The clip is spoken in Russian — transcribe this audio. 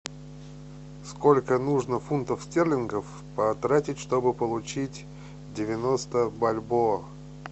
сколько нужно фунтов стерлингов потратить чтобы получить девяносто бальбоа